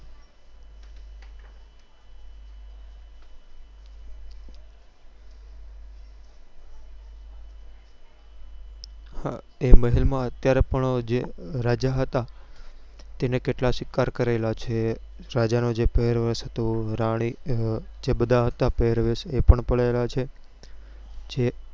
હા તે મહેલ માં અત્યારે પણ જે રાજા હતા તેને કેટલા શિકાર કરેલા છે રાજા નો જે પેર્વેશ હતો રાની ના જે બધા હતા પેર્વેશ એ પણ પડેલા છે જે